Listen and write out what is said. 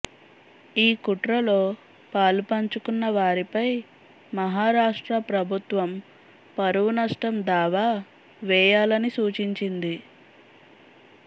ఈ కుట్రలో పాలుపంచుకున్న వారిపై మహారాష్ట్ర ప్రభుత్వం పరువునష్టం దావా వేయాలని సూచించింది